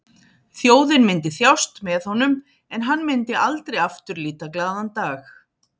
Þjóðin myndi þjást með honum en hann myndi aldrei aftur líta glaðan dag.